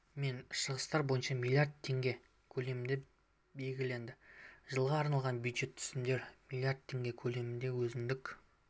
мен шығыстар бойынша млрд теңге көлемінде белгіленді жылға арналған бюджет түсімдері млрд теңге көлеміндегі өзіндік